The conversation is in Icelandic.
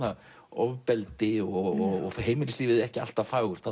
ofbeldi og heimilislífið ekki alltaf fagurt